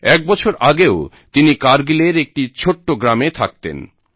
এক বছর আগেও তিনি কারগিলের একটি ছোট্ট গ্রামে থাকতেন